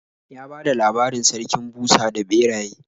Ya bada labarin Sarkin Busa da Ɓeraye.